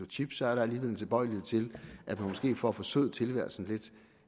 chips er der alligevel en tilbøjelighed til at man måske for at forsøde tilværelsen lidt